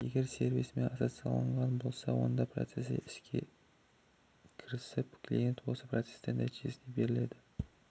егер сервисімен ассоциацияланған болса онда процесі іске кірісіп клиентке осы процестің нәтижесі беріледі